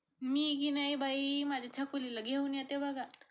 मी की नाही बाई माझ्या छकुलीला घेऊन येते बघा.